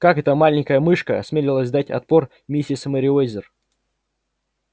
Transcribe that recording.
как эта маленькая мышка осмелилась дать отпор миссис мерриуэзер